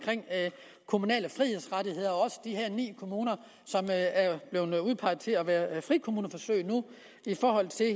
kommunale frihedsrettigheder og også om de her ni kommuner som er blevet udpeget til at være frikommuneforsøg i forhold til